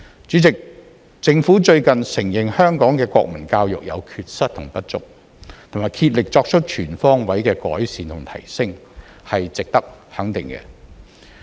主席，政府最近承認香港的國民教育有缺失和不足，並竭力作出全方位的改善和提升，是值得肯定的。